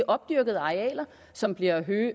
opdyrkede arealer som bliver